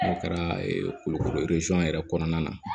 N'a kɛra kulukoro yɛrɛ kɔnɔna na